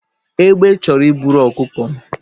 Egbe chọrọ iburu ọkụkọ m